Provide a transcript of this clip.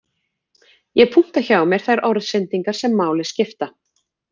Ég punkta hjá mér þær orðsendingar sem máli skipta